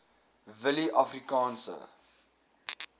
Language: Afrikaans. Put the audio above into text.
willieafrikaanse